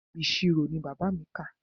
Ìṣirò ni bàbá mi kà.